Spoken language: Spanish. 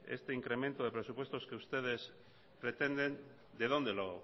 este incremento de presupuestos que ustedes pretenden de dónde lo